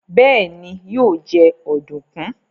béèni yíò jé Ọ̀dùnkún.